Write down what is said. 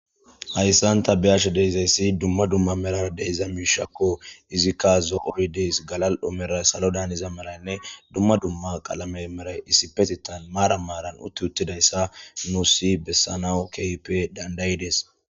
Hayisan ta be,ashe dizayisi duma duma merara dizayisi mishako izika zo,o dee's gala,o salo merayinne duma duma qalame merayi isspetettan maran utthi uthidayisa besanaw kehippe dandayidees